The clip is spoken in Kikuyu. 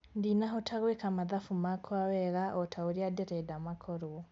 Ndinahota gwĩka mathabu makwa wega otaũrĩa nderenda makorwo